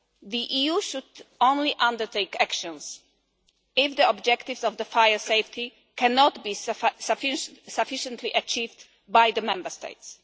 The EU should only undertake actions if the objectives of fire safety cannot be sufficiently achieved by the Member States.